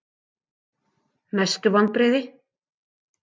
Mestu vonbrigði?